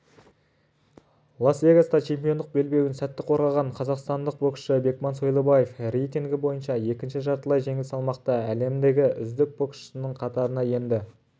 лас-вегаста чемпиондық белбеуін сәтті қорғаған қазақстандық боксшы бекман сойлыбаев рейтингі бойынша екінші жартылай жеңіл салмақта әлемдегі үздік боксшының қатарына енді